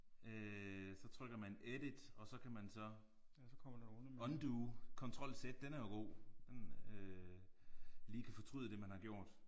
Øh så trykker man edit og så kan man så undo kontrol z den er jo god. Den øh lige kan fortryde det man har gjort